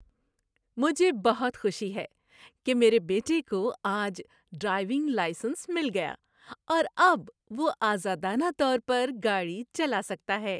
مجھے بہت خوشی ہے کہ میرے بیٹے کو آج ڈرائیونگ لائسنس مل گیا اور اب وہ آزادانہ طور پر گاڑی چلا سکتا ہے۔